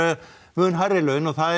mun hærri laun og það